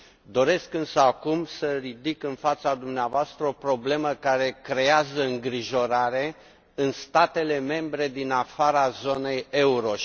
Doresc însă acum să ridic în fața dumneavoastră o problemă care creează îngrijorare în statele membre din afara zonei euro.